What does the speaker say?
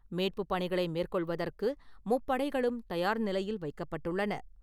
மீட்புப் பணிகளை மேற்கொள்வதற்கு முப்படைகளும் தயார் நிலையில் வைக்கப்பட்டுள்ளன.